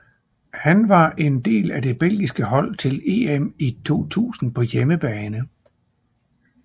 Han var en del af det belgiske hold til EM i 2000 på hjemmebane